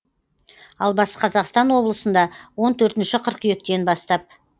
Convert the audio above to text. ал батыс қазақстан облысында он төртінші қыркүйектен бастап